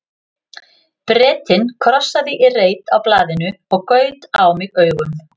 Bretinn krossaði í reit á blaðinu og gaut á mig augum.